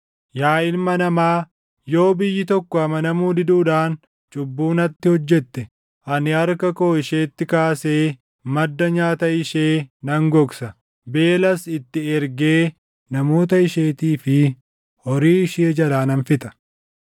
“Yaa ilma namaa, yoo biyyi tokko amanamuu diduudhaan cubbuu natti hojjette ani harka koo isheetti kaasee madda nyaata ishee nan gogsa; beelas itti ergee namoota isheetii fi horii ishee jalaa nan fixa;